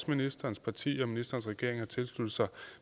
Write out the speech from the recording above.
ministerens parti og ministerens regering jo også har tilsluttet sig